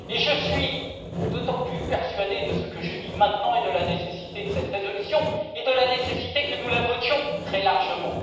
Je suis plus que jamais persuadé de ce que je dis maintenant, de la nécessité de cette résolution et de la nécessité que nous la votions très largement.